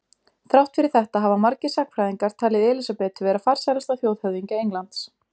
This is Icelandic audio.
Þrátt fyrir þetta hafa margir sagnfræðingar talið Elísabetu vera farsælasta þjóðhöfðingja Englands.